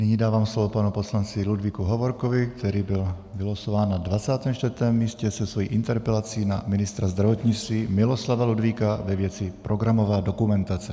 Nyní dávám slovo panu poslanci Ludvíku Hovorkovi, který byl vylosován na 24. místě se svou interpelací na ministra zdravotnictví Miloslava Ludvíka ve věci programová dokumentace.